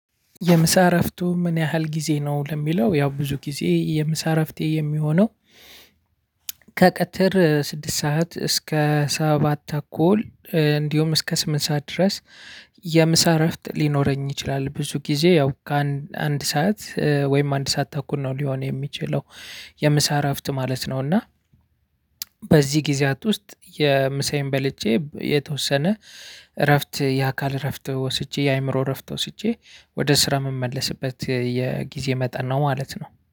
የምሳ እረፍቱ ምን ያህል ጊዜ ነው? ለሚለው ያው ብዙ ጊዜ የምሳ እረፍቴ የሚሆነው፣ ከቀትር ስድስት ሰዓት እስከ ሰባት ተኩል እንዲሁም እስከ ስምንት ሰዓት ድረስ፣ የምሳ እረፍት ሊኖረኝ ይችላል። ብዙ ጊዜ ያው ከአንድ ሰዓት ወይም አንድ ሰዓት ተኩል ነው ሊሆን የሚችለው። የምሳ እረፍት ማለት ነው እና፣ በዚህ ጊዜያት ውስጥ ምሳዬን በልቼ የተወሰነ እረፍት የአካል እረፍት ወስጄ የአእምሮ እረፍት ወስጄ፣ ወደ ስራ የምመልስበት የጊዜ መጠን ነው ማለት ነው።